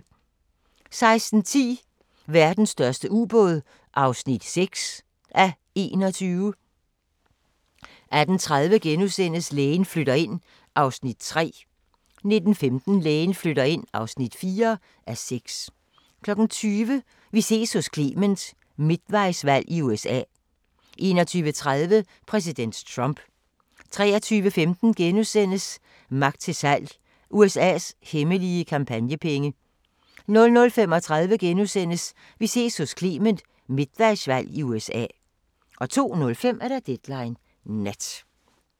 16:10: Verdens største ubåd (6:21) 18:30: Lægen flytter ind (3:6)* 19:15: Lægen flytter ind (4:6) 20:00: Vi ses hos Clement: Midtvejsvalg i USA 21:30: Præsident Trump 23:15: Magt til salg - USA's hemmelige kampagnepenge * 00:35: Vi ses hos Clement: Midtvejsvalg i USA * 02:05: Deadline Nat